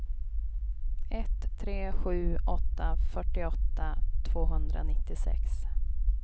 ett tre sju åtta fyrtioåtta tvåhundranittiosex